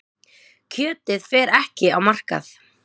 Kjötið fer ekki á markað.